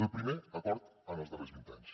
el primer acord en els darrers vint anys